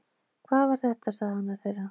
Hvað var þetta sagði annar þeirra